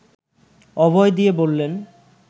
অভয় দিয়ে বললেন